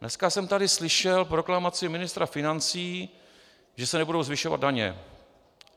Dneska jsem tady slyšel proklamaci ministra financí, že se nebudou zvyšovat daně.